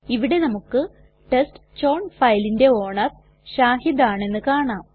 ഇവിടെ നമുക്ക് ടെസ്റ്റ്ചൌൺ ഫയലിന്റെ ഓണർ ഷാഹിദ് ആണെന്ന് കാണാം